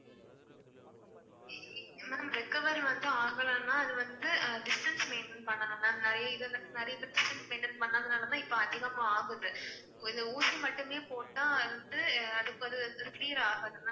ma'am recover வந்து ஆகலன்னா அது வந்து distance maintain பண்ணனும் ma'am. நிறைய நிறைய பேர் distance maintain பண்ணதுனால தான் இப்ப அதிகமா ஆகுது. இது ஊசிமட்டுமே போட்டா அது வந்து அது clear ஆகாது ma'am